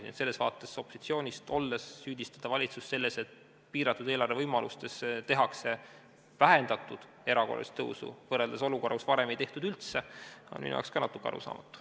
Nii et selles vaates süüdistada opositsioonis olles valitsust selles, et piiratud eelarve võimaluste tõttu tehakse vähendatud erakorralist tõusu, kui varem ei tehtud üldse, on minu jaoks ka natuke arusaamatu.